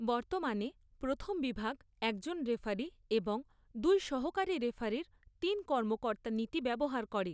বর্তমানে, প্রথম বিভাগ একজন রেফারি এবং দুই সহকারী রেফারির তিন কর্মকর্তা নীতি ব্যবহার করে।